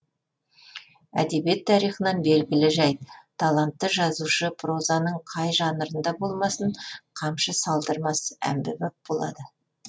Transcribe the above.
әдебиет тарихынан белгілі жәйт талантты жазушы прозаның қай жанрында болмасын қамшы салдырмас әмбебап болады